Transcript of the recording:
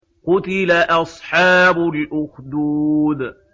قُتِلَ أَصْحَابُ الْأُخْدُودِ